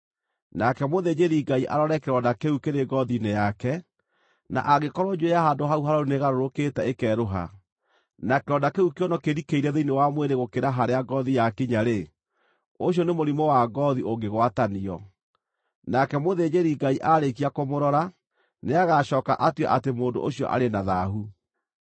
Nake mũthĩnjĩri-Ngai arore kĩronda kĩu kĩrĩ ngoothi-inĩ yake, na angĩkorwo njuĩrĩ ya handũ hau harũaru nĩĩgarũrũkĩte ĩkerũha, na kĩronda kĩu kĩonwo kĩrikĩire thĩinĩ wa mwĩrĩ gũkĩra harĩa ngoothi yakinya-rĩ, ũcio nĩ mũrimũ wa ngoothi ũngĩgwatanio. Nake mũthĩnjĩri-Ngai aarĩkia kũmũrora, nĩagacooka atue atĩ mũndũ ũcio arĩ na thaahu.